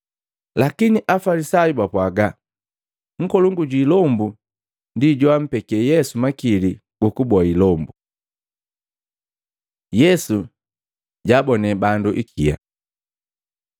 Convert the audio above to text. Lakini Afalisayu bapwaaga, “Nkolongu jwi ilombu ndi joampeke Yesu makili gukuboa ilombu.” Yesu jaabonee bandu ikia